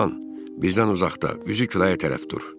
bizdən uzaqda, üzü küləyə tərəf dur.